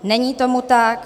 Není tomu tak.